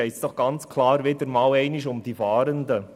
Es geht doch hier ganz klar wieder einmal um die Fahrenden.